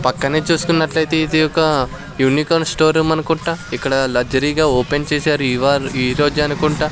పక్కనే చూసుకున్నట్లయితే ఇది ఒక యూనికాన్ స్టోరూం అనుకుంటా ఇక్కడ లగ్జరీగా ఓపెన్ చేశారు ఇవా ఈరోజే అనుకుంటా.